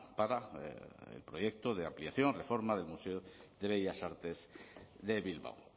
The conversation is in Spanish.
para el proyecto de ampliación y reforma del museo de bellas artes de bilbao